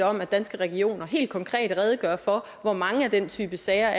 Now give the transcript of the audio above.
om at danske regioner helt konkret redegør for hvor mange af den type sager